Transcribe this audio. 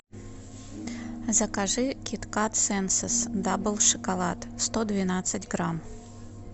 закажи кит кат сенсес дабл шоколад сто двенадцать грамм